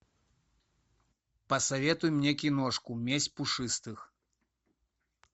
посоветуй мне киношку месть пушистых